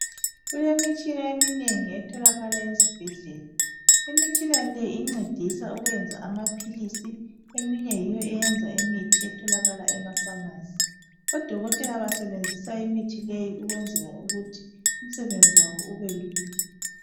Kulemitshina eminengi etholakala ezibhedlela imitshina le incedisa ukwenza amaphilisi eminye yiyo eyenza imithi etholakala emafamasi odokotela basebenzisa imithi leyi ukwenzela ukuthi imisebenzi wabo ube lula